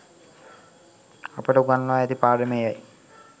අපට උගන්වා ඇති පාඩම එයයි.